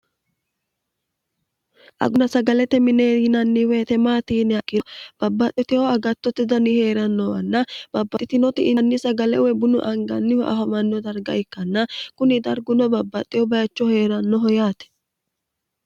aguna sagalete minee iinannihuhetemaatiinia kiro babbaxxoteho agattotte dani hee'rannowanna babbaxxitinoti ianni sagalewe bunu angannihu afamanno darga ikkanna kuni darguno babbaxxeho bayichoh hee'rannoho yaate